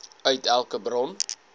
uit elke bron